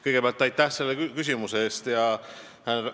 Kõigepealt aitäh selle küsimuse eest!